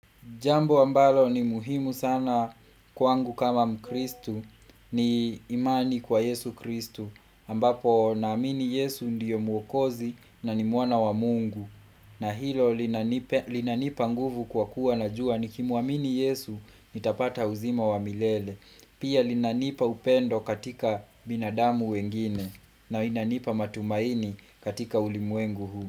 Jambo ambalo ni muhimu sana kwangu kama mkristu ni imani kwa yesu kristu. Ambapo naamini yesu ndiyo muokozi na ni mwana wa mungu. Na hilo linanipa nguvu kwa kuwa najua nikimwamini yesu, nitapata uzima wa milele. Pia linanipa upendo katika binadamu wengine na linanipa matumaini katika ulimwengu huu.